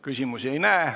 Küsimusi ei näe.